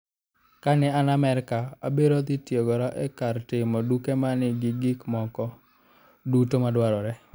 "Kane an Amerka, abiro dhi tiegora e kar timo tuke ma nigi gik moko duto madwarore.